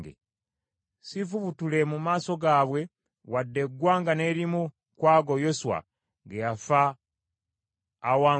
siifubutule mu maaso gaabwe wadde eggwanga n’erimu ku ago Yoswa ge yafa bawangudde.